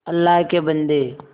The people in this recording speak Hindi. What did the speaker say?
अल्लाह के बन्दे